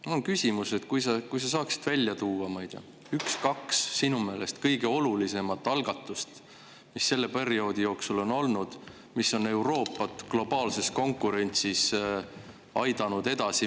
Mul on küsimus: kas sa saaksid välja tuua üks-kaks sinu meelest kõige olulisemat algatust, mis on selle perioodi jooksul olnud ja mis on Euroopat globaalses konkurentsis edasi aidanud?